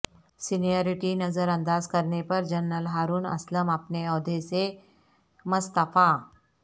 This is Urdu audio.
سینیاریٹی نظرانداز کرنے پر جنرل ہارون اسلم اپنے عہدہ سے مستعفی